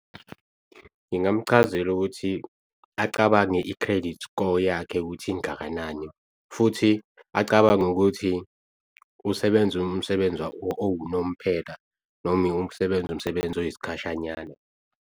Ngingamchazela ukuthi acabange i-credit score yakhe ukuthi ingakanani futhi acabange ukuthi usebenza umsebenzi owunomphela noma usebenza umsebenzi oyisikhashanyana.